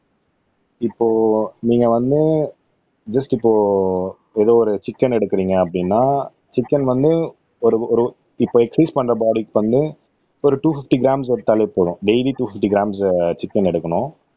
இப்போ நீங்க வந்து ஜஸ்ட் இப்போ ஏதோ ஒரு சிக்கன் எடுக்குறீங்க அப்படின்னா சிக்கன் வந்து ஒரு ஒரு இப்போ எக்ஸர்சைஸ் பண்ற பாடிக்கு வந்து ஒரு டூ பிப்டி க்ராம்ஸ் எடுத்தாலே போதும் daily two fifty grams chicken எடுக்கணும்